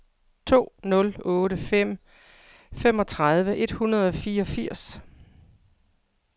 to nul otte fem femogtredive et hundrede og fireogfirs